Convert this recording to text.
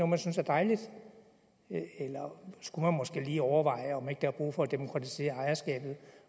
man synes er dejligt eller skulle man måske lige overveje om ikke der er brug for at demokratisere ejerskabet